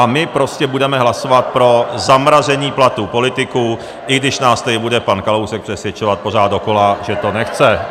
A my prostě budeme hlasovat pro zamražení platů politiků, i když nás tady bude pan Kalousek přesvědčovat pořád dokola, že to nechce.